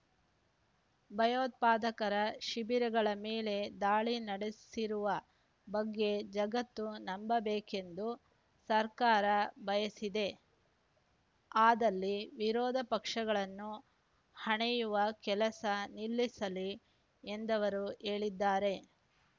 ಭಯೋತ್ಪಾದಕರ ಶಿಬಿರಗಳ ಮೇಲೆ ದಾಳಿ ನಡೆಸಿರುವ ಬಗ್ಗೆ ಜಗತ್ತು ನಂಬಬೇಕೆಂದು ಸರ್ಕಾರ ಬಯಸಿದ್ದೇ ಆದಲ್ಲಿ ವಿರೋಧ ಪಕ್ಷಗಳನ್ನು ಹಣೆಯುವ ಕೆಲಸ ನಿಲ್ಲಿಸಲಿ ಎಂದವರು ಹೇಳಿದ್ದಾರೆ